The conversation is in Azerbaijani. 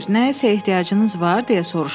Ser, nəyə ehtiyacınız var?